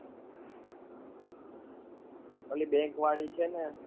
ઓલી bank વાળી છે ને?